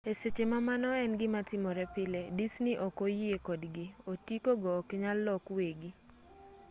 e seche ma mano en gimatimore pile disney ok oyie kodgi otiko go oknyal lok wegi